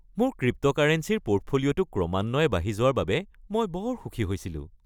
মোৰ ক্ৰিপ্ট'কাৰেঞ্চীৰ পোৰ্টফলিঅ’টো ক্ৰমান্বয়ে বাঢ়ি যোৱাৰ বাবে মই বৰ সুখী হৈছিলোঁ।